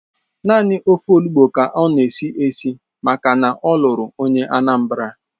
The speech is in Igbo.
Naanị ofe Olugbu ka ọ na-esi esi maka na ọ lụrụ onye Anambra